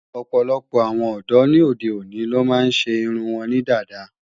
Ọ̀pọ̀lọpọ̀ àwọn ọ̀dọ́ ni óde òní ló máa ń ṣe irun wọn ní dada